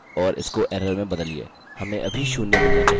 फिर से कॉपीपेस्ट और इसको error में बदलिए